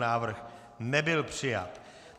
Návrh nebyl přijat.